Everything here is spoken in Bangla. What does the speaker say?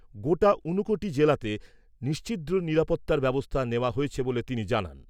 গোটা ঊনকোটি জেলাতে নিশ্ছিদ্র নিরাপত্তার ব্যবস্থা নেওয়া হয়েছে বলে তিনি জানান।